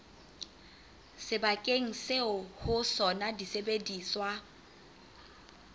sebakeng seo ho sona disebediswa